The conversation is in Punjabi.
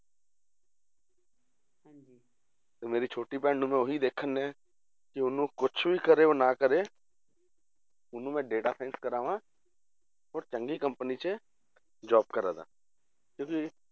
ਤੇ ਮੇਰੀ ਛੋਟੀ ਭੈਣ ਨੂੰ ਮੈਂ ਉਹੀ ਦੇਖਣ ਡਿਆ ਕਿ ਉਹਨੂੰ ਕੁਛ ਵੀ ਕਰੇ ਉਹ ਨਾ ਕਰੇ ਉਹਨੂੰ ਮੈਂ data science ਕਰਾਵਾਂ, ਹੋਰ ਚੰਗੀ company 'ਚ job ਕਰਵਾਦਾਂ ਤੇ ਵੀ